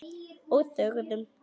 Og þögðum.